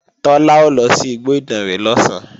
Tọ́lá ó lọ sí igbó Ìdànrè lọ̀sán